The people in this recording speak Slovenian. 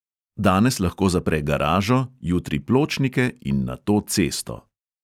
Danes lahko zapre garažo, jutri pločnike in nato cesto.